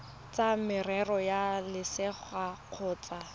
tsa merero ya selegae kgotsa